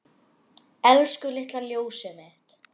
Elsku litla ljósið mitt.